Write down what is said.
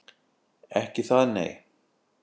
Ekki það, nei?